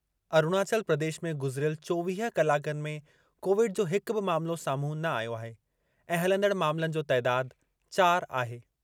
अरुणाचल प्रदेश में गुज़िरियल चोवीह कलाकनि में कोविड जो हिक बि मामलो साम्हूं न आयो आहे ऐं हलंदड़ मामलनि जो तइदाद चार आहे।